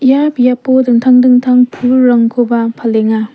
ia biapo dingtang dingtang pulrangkoba palenga.